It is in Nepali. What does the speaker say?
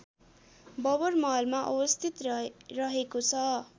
बबरमहलमा अवस्थित रहेको छ